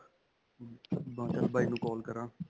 ਮਮ ਮੈਂ ਚਲ ਬਾਈ ਨੂੰ call ਕਰਾ.